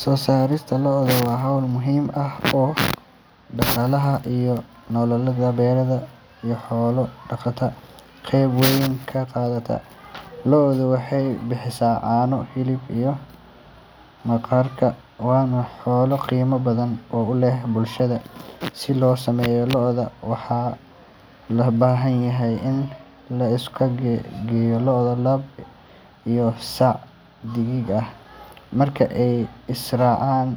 Soo saarista lo’da waa hawl muhiim ah oo dhaqaalaha iyo nolosha beeraleyda iyo xoolo dhaqatada qayb weyn ka qaadata. Lo’du waxay bixisaa caano, hilib, iyo maqaarka, waana xoolo qiimo badan u leh bulshada. Si loo sameeyo lo’, waxaa loo baahan yahay in la isku geeyo lo’ lab ah iyo sac dheddig ah. Marka ay is raacaan,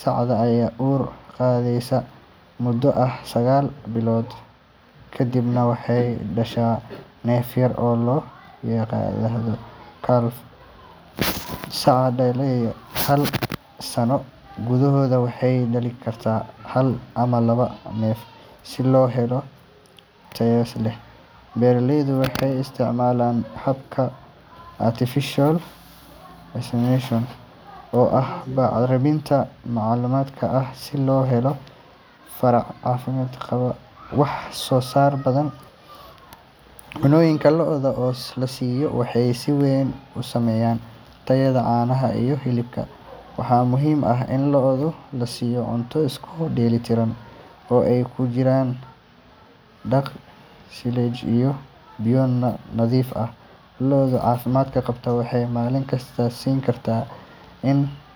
sacda ayaa uur qaadaysa muddo ah sagaal bilood ka dibna waxay dhashaa neef yar oo la yiraahdo calf. Saca dhalaysa hal sano gudahood waxay dhalin kartaa hal ama laba neef. Si loo helo lo’ tayo leh, beeraleydu waxay isticmaalaan habka artificial insemination oo ah bacraminta macmalka ah si loo helo farac caafimaad qaba oo wax soo saar badan. Cunnooyinka lo’da la siiyo waxay si weyn u saameeyaan tayada caanaha iyo hilibka. Waxaa muhiim ah in lo’da la siiyo cunto isku dheelli tiran oo ay ku jiraan daaq, silage, iyo biyo nadiif ah. Lo’da caafimaad qaba waxay maalin kasta siin kartaa in.